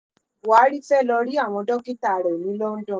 buhari fee lóò rí àwọn dókítà rẹ ní london